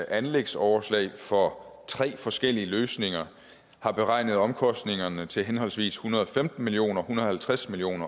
anlægsoverslag for tre forskellige løsninger har beregnet omkostningerne til henholdsvis en hundrede og femten million kr en hundrede og halvtreds million